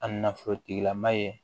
A nafolo tigilama ye